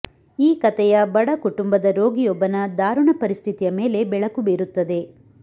ಈ ಕತೆಯ ಬಡ ಕುಟುಂಬದ ರೋಗಿಯೊಬ್ಬನ ದಾರುಣ ಪರಿಸ್ಥಿತಿಯ ಮೇಲೆ ಬೆಳಕು ಬೀರುತ್ತದೆ